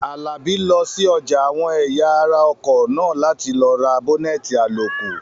Àlàbí lọ sí ọjà àwọn ẹ̀yà ara ọkọ̀ náà láti lọ ra bọ́nẹ̀tì àlòkù